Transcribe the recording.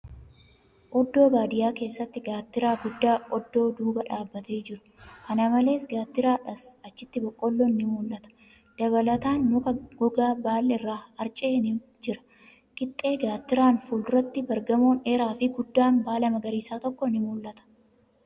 Oddoo baadiyyaa keessatti gaattiraa guddaa oddoo duuba dhaabatee jiru. Kana malees, gaattiraadhas achitti boqqoolloon ni mul'ata. Dabalataan, muka gogaa baal'i irraa harca'e ni jira. Qixxee gaattiraan fuulduratti bar-gamoon dheeraafi guddaan baala magariisaa tokko ni mul'ata.